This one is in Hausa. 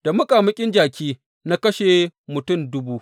Da muƙamuƙin jaki na kashe mutum dubu.